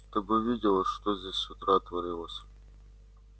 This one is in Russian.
ты бы видела что здесь с утра творилось